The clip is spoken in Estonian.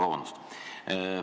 Vabandust!